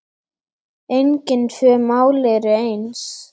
Engin tvö mál eru eins.